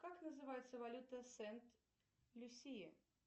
как называется валюта сент люсии